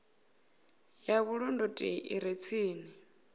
ya vhulondoti i re tsini